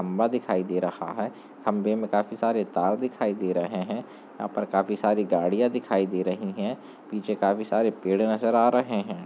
खम्भा दिखाई दे रहा है खम्भे में काफी सारे तार दिखाई दे रहे हैं यहाँ पर काफी सारी गाड़ियां दिखाई दे रही हैं पीछे काफी सारे पेड़ नजर आ रहे हैं।